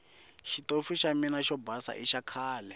xitofu xa mina xo basa i xakhale